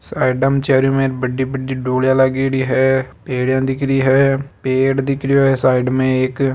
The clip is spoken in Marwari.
साइड में चारो मेर बड़ी बड़ी डोलीया लागेडी है पेडिया दिख रही है पेड़ दिख रो है साइड में एक।